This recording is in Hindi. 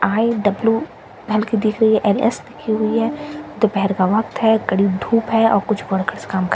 आई_डब्‍लू हल्‍की दिख रही है एल_एस लिखी हुई है दोपहेर का वक्‍त है कड़ी धूप है और कुछ वर्कस काम कर --